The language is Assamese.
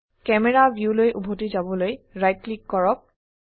ক্যামেৰা ভিউলৈ উভতি যাবলৈ ৰাইট ক্লিক কৰক